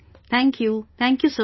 Thank you, Thank you Sir